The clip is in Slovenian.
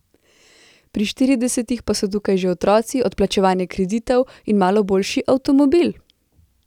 Pri štiridesetih pa so tukaj že otroci, odplačevanje kreditov in malo boljši avtomobil.